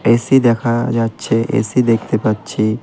AC দেখা যাচ্ছে AC দেখতে পাচ্ছি।